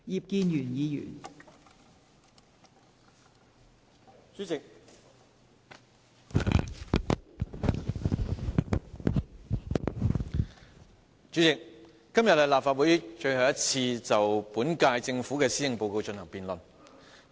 代理主席，今天是立法會最後一次就本屆政府的施政報告進行辯論。